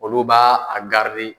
Olu ba a